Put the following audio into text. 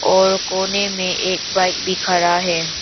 और कोने में एक बाइक भी खड़ा है।